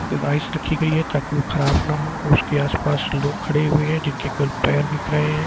रखी गई है ताकि वो खराब ना हो उसके आसपास लोग खड़े हुए हैं जिनके केवल पैर दिख रहे हैं।